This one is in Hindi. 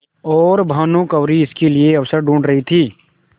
और भानुकुँवरि इसके लिए अवसर ढूँढ़ रही थी